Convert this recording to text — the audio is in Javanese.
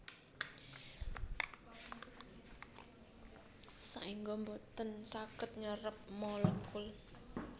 Saéngga boten saged nyerep molekul